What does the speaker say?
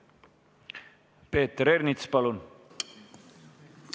Peeter Ernits, palun!